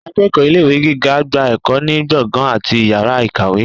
akeéko ilé ìwé gígá gbá ekò ni gbọngan atí ìyára ikáwe.